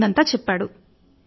జరుగిందంతా చెప్పాడు